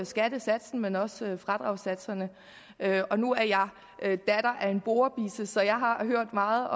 skattesatsen men også fradragssatserne nu er jeg datter af en borebisse så jeg har hørt meget